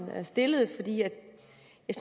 i at